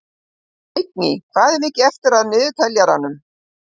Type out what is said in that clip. Vigný, hvað er mikið eftir af niðurteljaranum?